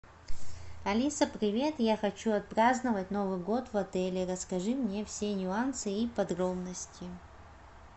алиса привет я хочу отпраздновать новый год в отеле расскажи мне все нюансы и подробности